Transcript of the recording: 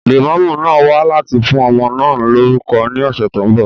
Lẹ̀mọ́mú máa wá láti fún ọmọ náà lórúkọ ní ọ̀sẹ̀ tó ń bọ̀